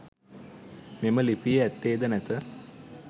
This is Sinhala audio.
මෙම ලිපියේ ඇත්තේද නැත.